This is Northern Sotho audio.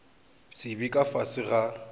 se be ka fase ga